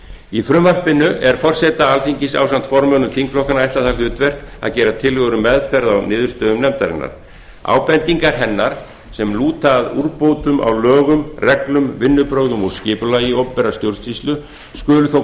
í frumvarpinu er forseta alþingis ásamt formönnum þingflokkanna ætlað það hlutverk að gera tillögu um meðferð á niðurstöðum nefndarinnar ábendingar hennar sem lúta að úrbótum á lögum reglum vinnubrögðum og skipulagi opinberrar stjórnsýslu skulu þó